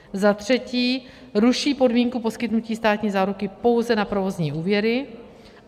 Za třetí ruší podmínku poskytnutí státní záruky pouze na provozní úvěry.